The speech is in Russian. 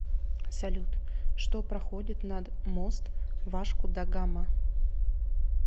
салют что проходит над мост вашку да гама